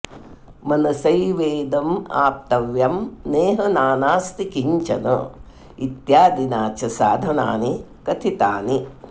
मनसैवेदमाप्तव्यं नेह नानास्ति किञ्चन इत्यादिना च साधनानि कथितानि